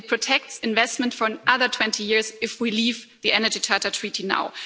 it protects investment for another 20 years if we leave the Energy Charter Treaty now.